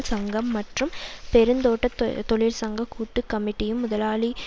சங்கம் மற்றும் பெருந்தோட்ட தொழிற்சங்க கூட்டு கமிட்டியும் முதலாளிமாருடன்